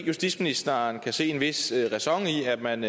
justitsministeren kan se en vis ræson i at man